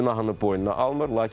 Günahını boynuna almır.